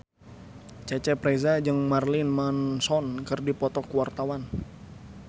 Cecep Reza jeung Marilyn Manson keur dipoto ku wartawan